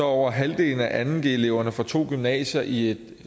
over halvdelen af anden g eleverne fra to gymnasier i et